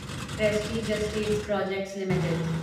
Prestige Estates Projects limited